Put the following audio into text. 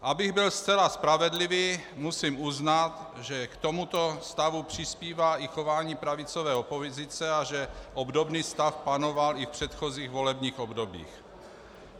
Abych byl zcela spravedlivý, musím uznat, že k tomuto stavu přispívá i chování pravicové opozice a že obdobný stav panoval i v předchozích volebních obdobích.